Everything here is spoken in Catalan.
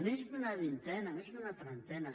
més d’una vintena més d’una trentena